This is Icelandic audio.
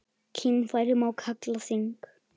Kynfæri má kalla þing.